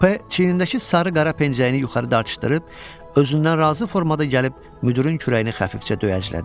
P çiynindəki sarı-qara pencəyini yuxarı dartışdırıb özündən razı formada gəlib müdirin kürəyini xəfifcə döyəclədi.